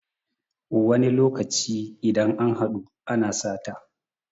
wani lokaci idan an haɗu ana sata